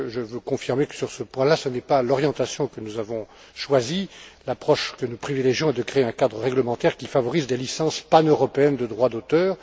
Je confirme que, sur ce point là, ce n'est pas l'orientation que nous avons choisie. L'approche que nous privilégions est de créer un cadre réglementaire qui favorise des licences paneuropéennes de droit d'auteur.